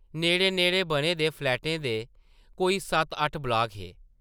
नेड़ै-नेड़ै बने दे फ्लैटें दे कोई सत्त-अट्ठ ब्लाक हे ।